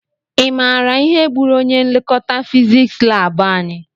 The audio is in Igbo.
I maara ihe gbúrù ọnye nlekọta fiziks lab anyị?